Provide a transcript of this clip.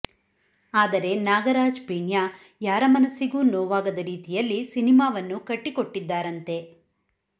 ಆದರೆ ನಾಗರಾಜ್ ಪೀಣ್ಯ ಯಾರ ಮನಸ್ಸಿಗೂ ನೋವಾಗದ ರೀತಿಯಲ್ಲಿ ಸಿನಿಮಾವನ್ನು ಕಟ್ಟಿಕೊಟ್ಟಿದ್ದಾರಂತೆ